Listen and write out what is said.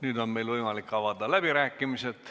Nüüd on meil võimalik avada läbirääkimised.